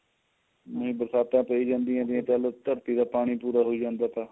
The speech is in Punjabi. ਬਰਸਾਤਾ ਤੇਜ਼ ਹੁੰਦਿਆ ਨੇ ਜੇ ਕਰ ਧਰਤੀ ਦਾ ਪਾਣੀ ਪੂਰਾ ਹੋਈ ਜਾਂਦਾ ਹੈ ਤਾਂ